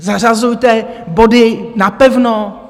Zařazujte body napevno!